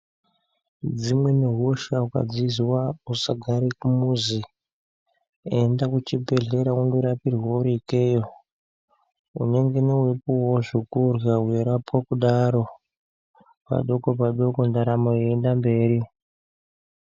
Dzimweni hosha ukadzizwa usagare kumuzi, enda kuchibhedhlera undorapirwe uri keyo. Unengene weyipuwa zvekurya weyirapwa kudaro, padoko padoko ntaramo yeyiyenda mberi.